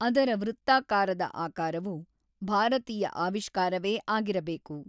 ಅದರ ವೃತ್ತಾಕಾರದ ಆಕಾರವು ಭಾರತೀಯ ಆವಿಷ್ಕಾರವೇ ಆಗಿರಬೇಕು.